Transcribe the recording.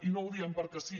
i no ho diem perquè sí